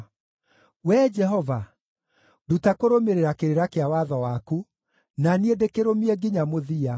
Wee Jehova, nduta kũrũmĩrĩra kĩrĩra kĩa watho waku, na niĩ ndĩkĩrũmie nginya mũthia.